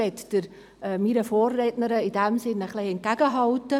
In diesem Sinn möchte ich meiner Vorrednerin etwas entgegenhalten.